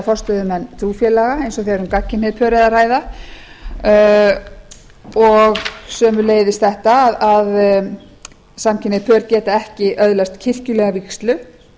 forstöðumenn trúfélaga eins og þegar um gagnkynhneigð pör er að ræða og sömuleiðis þetta að samkynhneigð pör geta ekki öðlast kirkjulega vígslu